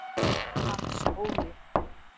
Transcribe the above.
Hans Óli